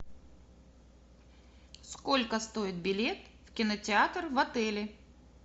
сколько стоит билет в кинотеатр в отеле